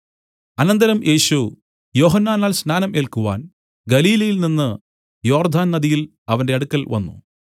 അനന്തരം യേശു യോഹന്നാനാൽ സ്നാനം ഏല്ക്കുവാൻ ഗലീലയിൽ നിന്നു യോർദ്ദാൻ നദിയിൽ അവന്റെ അടുക്കൽ വന്നു